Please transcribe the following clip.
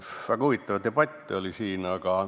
Väga huvitav debatt on olnud.